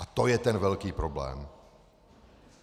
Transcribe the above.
A to je ten velký problém!